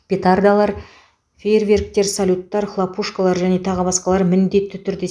петардалар фейерверктер салюттар хлопушкалар және тағы басқа міндетті түрде